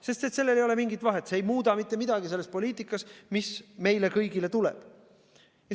Sest sellel ei ole mingit vahet, see ei muuda mitte midagi selles poliitikas, mis meile kõigile tuleb.